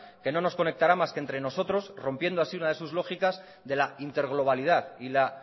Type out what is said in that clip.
que no nos conectará más que entre nosotros rompiendo así una de sus lógicas de la interglobalidad y la